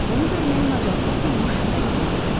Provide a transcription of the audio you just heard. Onu görməyə macal tapmamış məni vurardı.